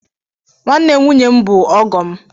Nwanne nwunye m bụ ọgọ m.